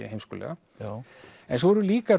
heimskulega en svo eru líka